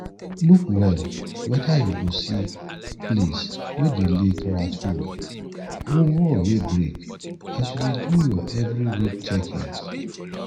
look well whether you go see place wey dey leak rat hole or wall wey break as you dey do your every week checkings